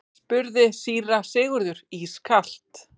spurði síra Sigurður ískalt.